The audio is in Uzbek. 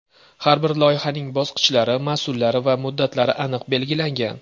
Har bir loyihaning bosqichlari, mas’ullari va muddatlari aniq belgilangan.